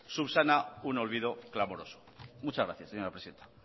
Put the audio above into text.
subsana un olvido clamoroso muchas gracias señora presidenta